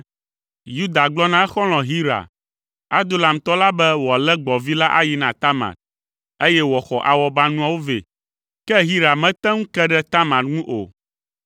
Yuda gblɔ na exɔlɔ̃ Hira, Adulamtɔ la be wòalé gbɔ̃vi la ayi na Tamar, eye wòaxɔ awɔbanuawo vɛ, ke Hira mete ŋu ke ɖe Tamar ŋu o.